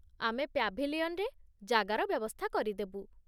ଆମେ ପ୍ୟାଭିଲିୟନରେ ଜାଗାର ବ୍ୟବସ୍ଥା କରିଦେବୁ।